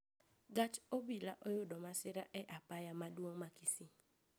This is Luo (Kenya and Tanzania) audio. Gach obila oyudo masira e apaya maduong` ma kisii